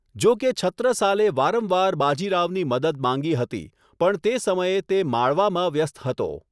જોકે છત્રસાલે વારંવાર બાજીરાવની મદદ માંગી હતી, પણ તે સમયે તે માળવામાં વ્યસ્ત હતો.